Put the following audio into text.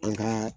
An ka